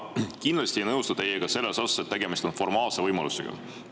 Ma kindlasti ei nõustu teiega selles osas, et tegemist on formaalse võimalusega.